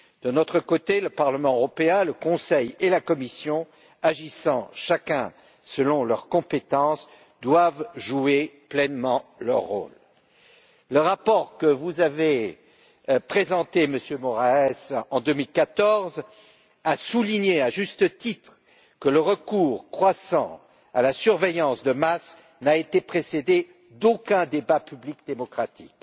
De notre côté, le Parlement européen, le Conseil et la Commission, agissant chacun selon leurs compétences, doivent jouer pleinement leur rôle. Le rapport que vous avez présenté, Monsieur Moraes, en 2014 a souligné, à juste titre, que le recours croissant à la surveillance de masse n'a été précédé d'aucun débat public démocratique.